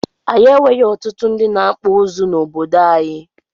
Anyị nwere ọtụtụ ndị na akpụ ụzụ na obodo anyị